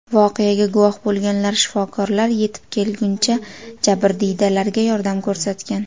Voqeaga guvoh bo‘lganlar shifokorlar yetib kelguncha jabrdiydalarga yordam ko‘rsatgan.